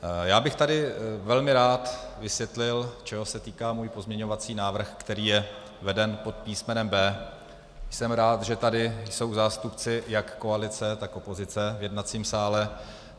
Já bych tady velmi rád vysvětlil, čeho se týká můj pozměňovací návrh, který je veden pod písmenem B. Jsem rád, že tady jsou zástupci jak koalice, tak opozice v jednacím sále.